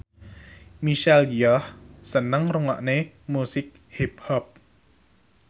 Michelle Yeoh seneng ngrungokne musik hip hop